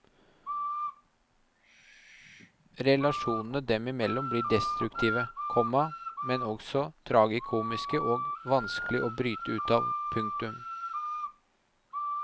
Relasjonene dem imellom blir destruktive, komma men også tragikomiske og vanskelig å bryte ut av. punktum